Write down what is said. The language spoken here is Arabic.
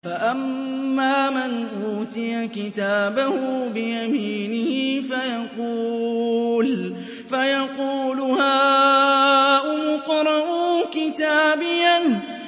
فَأَمَّا مَنْ أُوتِيَ كِتَابَهُ بِيَمِينِهِ فَيَقُولُ هَاؤُمُ اقْرَءُوا كِتَابِيَهْ